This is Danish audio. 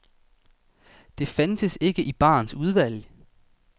Det fandtes ikke i barens udvalg.